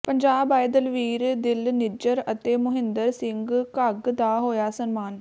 ਪੰਜਾਬ ਆਏ ਦਲਵੀਰ ਦਿਲ ਨਿੱਜਰ ਅਤੇ ਮੁਹਿੰਦਰ ਸਿੰਘ ਘੱਗ ਦਾ ਹੋਇਆ ਸਨਮਾਨ